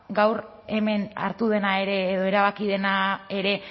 gaur hemen hartu dena ere edo erabaki dena ere